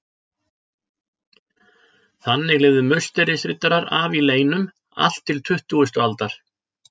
Þannig lifðu Musterisriddarar af í leynum allt til tuttugustu aldar.